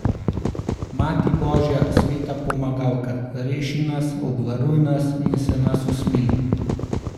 Mati božja, sveta pomagalka, reši nas, obvaruj nas in se nas usmili!